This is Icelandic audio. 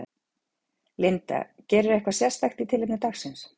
Linda: Gerirðu eitthvað sérstakt í tilefni dagsins?